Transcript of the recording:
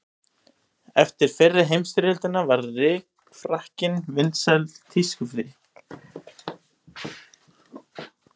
Eftir fyrri heimsstyrjöldina varð rykfrakkinn vinsæl tískuflík.